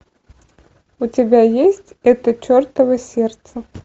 у тебя есть это чертово сердце